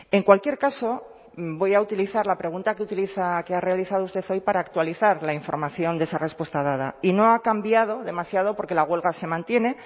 en cualquier caso voy a utilizar la pregunta que utiliza que ha realizado usted hoy para actualizar la información de esa respuesta dada y no ha cambiado demasiado porque la huelga se mantiene